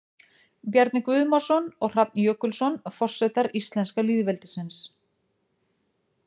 Bjarni Guðmarsson og Hrafn Jökulsson, Forsetar íslenska lýðveldisins.